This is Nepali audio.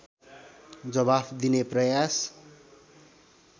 जवाफ दिने प्रयास